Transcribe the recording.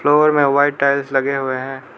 Floor में white tiles लगे हुए है।